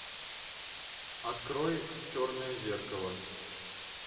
открой черное зеркало